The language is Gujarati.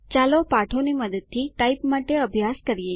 ચાલો પાઠોની મદદથી ટાઇપ માટે અભ્યાસ કરીએ